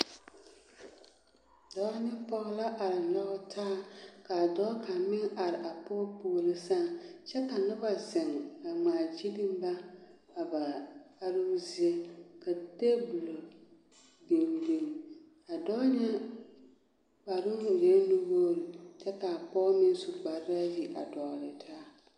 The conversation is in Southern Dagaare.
Dɔɔ ne pɔge la a nyɔge taa ka a dɔɔ kaŋ meŋ are a pɔge puori sɛŋ kyɛ ka noba a zeŋ a ŋmaagyilli ba a ba aroozie ka table biŋ biŋ a dɔɔ ŋa kparoŋ e la nuwogre kyɛ ka a pɔge meŋ su kpare ayi a dɔgle taa.